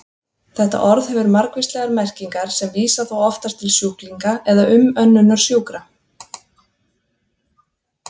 Þetta orð hefur margvíslegar merkingar sem vísa þó oftast til sjúklinga eða umönnunar sjúkra.